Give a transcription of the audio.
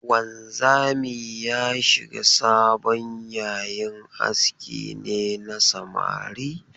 Wanzami ya shiga sabon yayin aski ne na samari?